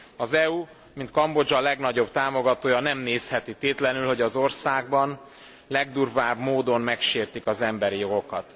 Az EU mint Kambodzsa legnagyobb támogatója nem nézheti tétlenül, hogy az országban legdurvább módon megsértik az emberi jogokat.